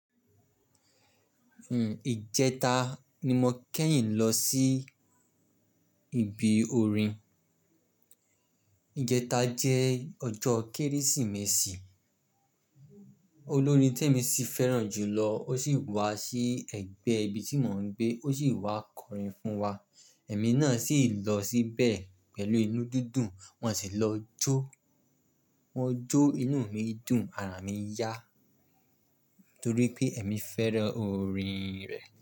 Ìjẹta ni mo kẹ́yìn lọ sí ibi orin. Ìjẹta jẹ́ ọjọ́ Kérésìmesì. Olórin tí èmi sì fẹ́ràn jùlọ ó sì wá sí ẹ̀gbẹ́ ibi tí mò ń gbé, ó sì wá kọrin fún wa. Ẹ̀mí náà sì lọ síbẹ̀ pẹ̀lú inú dídùn, wọ́n sì lọ jó. Mọ́ jó inú mi dùn, ara mi yá torí pé èmi fẹ́ràn orin rẹ̀